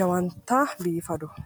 jawanta biifadoho.